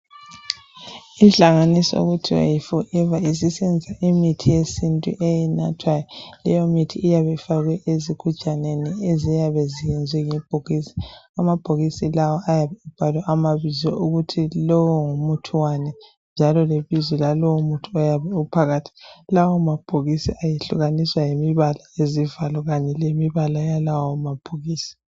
Inhlanganiso okuthiwa yiForever. Isebenzisa imithi yesintu enathwayo. Leyomithi iyabe ifakwe ezigujaneni. Eziyabe ziyenziwe ngebhokisi. Amabhokisii lawo, ayabe ebhalwe amabizo. Ukuthi lowo ngumuthi wani, njalo lebizo lalowomuthi oyabe uphakathi. Lawomabhokisi ehlukamiswa yimibala kanye lezivalo kanye lemibala yalawomabhokisi.